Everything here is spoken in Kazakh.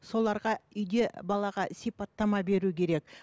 соларға үйде балаға сипаттама беру керек